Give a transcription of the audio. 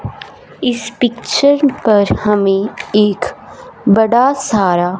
इस पिक्चर पर हमें एक बड़ा सारा--